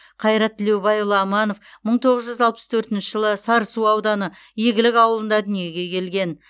қайрат тілеубайұлы аманов мың тоғыз жүз алпыс төртінші жылы сарысу ауданы игілік ауылында дүниеге келген